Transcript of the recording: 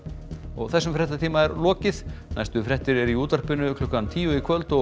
þessum fréttatíma er lokið næstu fréttir eru í útvarpi klukkan tíu í kvöld og